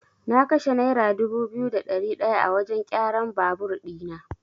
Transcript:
Na kashe naira dubu biyu da ɗari ɗaya a wajan kyaran babur ɗina.